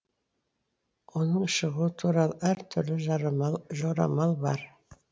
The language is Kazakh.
оның шығуы туралы әр түрлі жорамал бар